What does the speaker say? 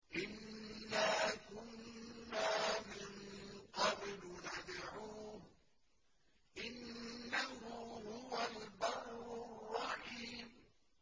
إِنَّا كُنَّا مِن قَبْلُ نَدْعُوهُ ۖ إِنَّهُ هُوَ الْبَرُّ الرَّحِيمُ